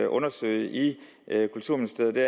undersøge i kulturministeriet